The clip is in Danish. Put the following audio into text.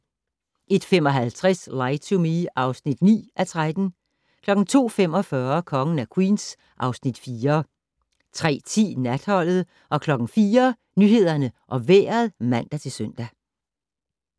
01:55: Lie to Me (9:13) 02:45: Kongen af Queens (Afs. 4) 03:10: Natholdet 04:00: Nyhederne og Vejret (man-søn)